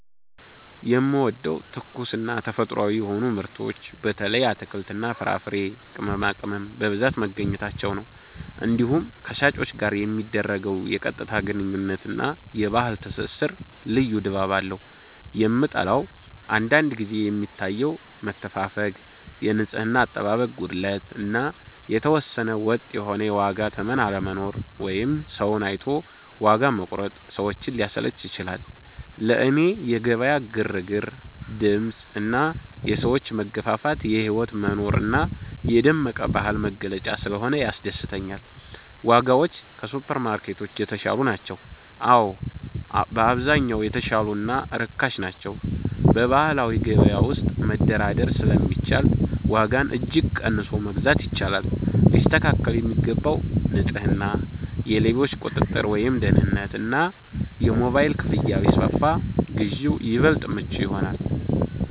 የምወደደው፦ ትኩስና ተፈጥሯዊ የሆኑ ምርቶች (በተለይ አትክልትና ፍራፍሬ፣ ቅመማቅመም) በብዛት መገኘታቸው ነው። እንዲሁም ከሻጮች ጋር የሚደረገው የቀጥታ ግንኙነት እና የባህል ትስስር ልዩ ድባብ አለው። የምጠላው፦ አንዳንድ ጊዜ የሚታየው መተፋፈግ፣ የንጽህና አጠባበቅ ጉድለት እና የተወሰነ ወጥ የሆነ የዋጋ ተመን አለመኖር (ሰውን አይቶ ዋጋ መቁረጥ) ሰዎችን ሊያሰለች ይችላል። ለእኔ የገበያ ግርግር፣ ድምፅ እና የሰዎች መገፋፋት የህይወት መኖር እና የደመቀ ባህል መገለጫ ስለሆነ ያስደስተኛል። ዋጋዎች ከሱፐርማርኬቶች የተሻሉ ናቸው? አዎ፣ በአብዛኛው የተሻሉ እና ርካሽ ናቸው። በባህላዊ ገበያ ውስጥ መደራደር ስለሚቻል ዋጋን እጅግ ቀንሶ መግዛት ይቻላል። ሊስተካከል የሚገባው፦ ንጽህና፣ የሌቦች ቁጥጥር (ደህንነት) እና የሞባይል ክፍያ ቢስፋፋ ግዢው ይበልጥ ምቹ ይሆናል።